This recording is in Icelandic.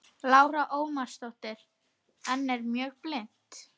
Lára Ómarsdóttir: En er mjög blint?